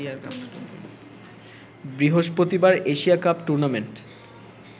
বৃহস্পতিবার Asia cup tournament